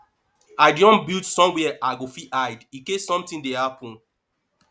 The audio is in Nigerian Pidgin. i don build somewhere i go fit hide in case something dey happen